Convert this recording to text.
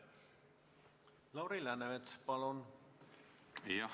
Lauri Läänemets, palun!